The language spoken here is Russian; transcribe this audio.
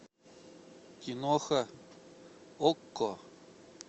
киноха окко